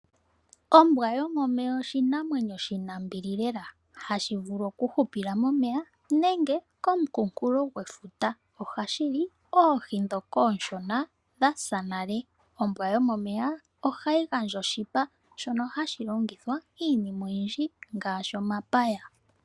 Ombwa yomomeya oshinamwenyo shina ombili lela, hashi vulu oku hupila momeya nenge komukunkulo gwefuta, ohashi li oohi dhoka ooshona dhasa nale. Ombwa yomomeya ohayi gandja oshipa shono hashi longithwa iinima oyindji ngaashi omapaya.